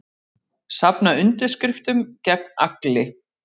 Safna undirskriftum gegn Agli